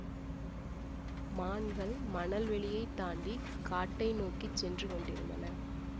மான்கள் மணல் வெளியைத் தாண்டிக் காட்டை நோக்கி சென்று கொண்டிருந்தன